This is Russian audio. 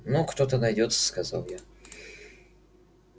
ну кто-то найдётся сказал я